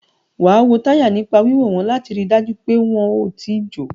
Wàá wo táyà nípa wíwò wọ́n láti rí dájú pé wọn ò tíì jò